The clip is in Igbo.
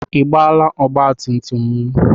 Ị gbaala ọgbatumtum m?